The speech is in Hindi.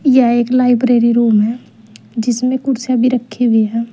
यह एक लाइब्रेरी रूम है जिसमें कुर्सियां भी रखी हुई हैं।